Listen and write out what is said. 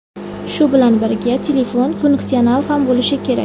Shu bilan birga, telefon funksional ham bo‘lishi kerak.